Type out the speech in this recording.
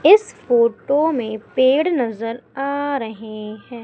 इस फोटो में पेड़ नजर आ रहे हैं।